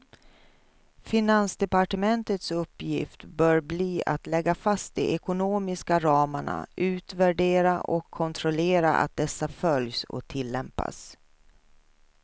Finansdepartementets uppgift bör bli att lägga fast de ekonomiska ramarna, utvärdera och kontrollera att dessa följs och tillämpas.